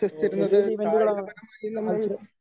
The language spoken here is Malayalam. അപ്പോ വലിയ വലിയ ഇവൻറുകള് മത്സര